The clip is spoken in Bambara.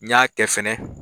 N y'a kɛ fɛnɛ